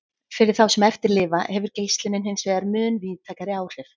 Fyrir þá sem eftir lifa hefur geislunin hinsvegar mun víðtækari áhrif.